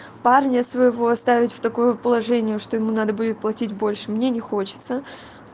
парня своего оставить в такое положение что ему надо будет платить больше мне не хочется